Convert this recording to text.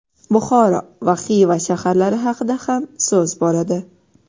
Buxoro va Xiva shaharlari haqida ham so‘z boradi.